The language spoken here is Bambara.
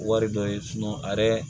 Wari dɔ ye a yɛrɛ